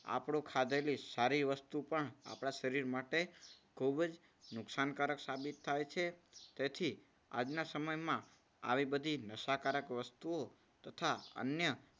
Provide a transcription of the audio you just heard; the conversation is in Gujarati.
આપણે ખાધેલી સારી વસ્તુ પણ આપણા શરીર માટે ખૂબ જ નુકસાનકારક સાબિત થાય છે. તેથી આજના સમયમાં આવી બધી નશાકારક વસ્તુઓ તથા અન્ય